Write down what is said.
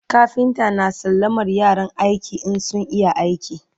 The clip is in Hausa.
kafinta na sallamar yaran aiki in sun iya aiki